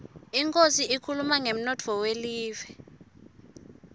inkhosi ikhuluma ngemnotfo welive